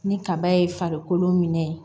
Ni kaba ye farikolo minɛ